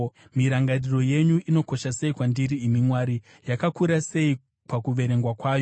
Mirangariro yenyu inokosha sei kwandiri, imi Mwari! Yakakura sei pakuverengwa kwayo!